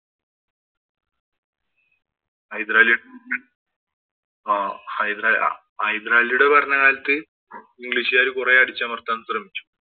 ഹൈദരാലി ആഹ് ഹൈദരാ ഹൈദരാലിയുടെ ഭരണകാലത്ത് ഇംഗ്ലീഷുകാര് കുറെ അടിച്ചമര്‍ത്താന്‍ ശ്രമിച്ചു.